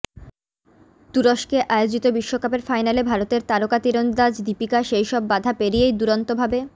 তুরস্কে আয়োজিত বিশ্বকাপের ফাইনালে ভারতের তারকা তিরন্দাজ দীপিকা সেই সব বাধা পেরিয়েই দুরন্ত ভাবে